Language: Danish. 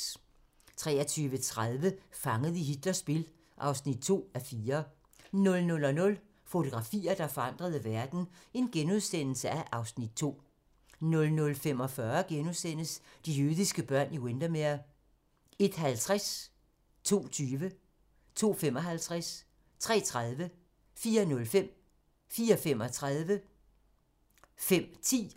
23:30: Fanget i Hitlers spil (2:4) 00:00: Fotografier, der forandrede verden (Afs. 2)* 00:45: De jødiske børn i Windermere * 01:50: Deadline * 02:20: Deadline * 02:55: Deadline * 03:30: Deadline * 04:05: Deadline * 04:35: Deadline * 05:10: Deadline *